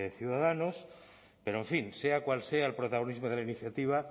ciudadanos pero en fin sea cual sea el protagonismo de la iniciativa